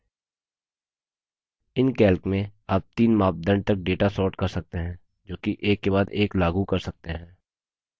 calc में आप तीन मापदंड तक data sort कर सकते हैं जोकि एक के बाद एक लागू कर सकते हैं